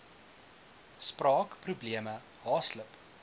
spraak probleme haaslip